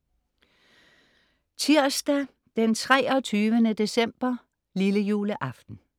Tirsdag 23. december, lillejuleaften